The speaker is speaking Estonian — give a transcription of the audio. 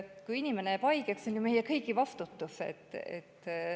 Kui inimene jääb haigeks, siis on see ju meie kõigi vastutus.